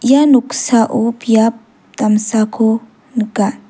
ia noksao biap damsako nika.